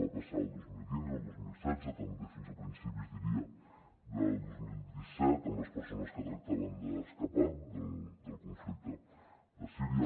va passar el dos mil quinze i el dos mil setze també fins a principis diria del dos mil disset amb les persones que tractaven d’escapar del conflicte de síria